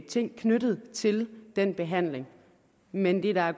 ting knyttet til den behandling men det der er